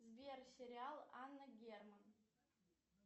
сбер сериал анна герман